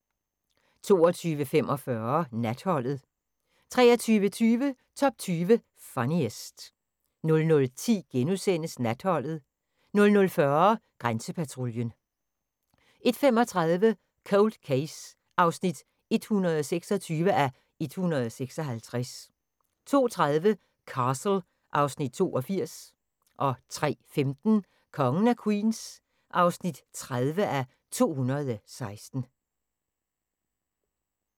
22:45: Natholdet 23:20: Top 20 Funniest 00:10: Natholdet * 00:40: Grænsepatruljen 01:35: Cold Case (126:156) 02:30: Castle (Afs. 82) 03:15: Kongen af Queens (30:216)